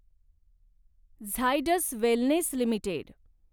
Zydus Wellness limited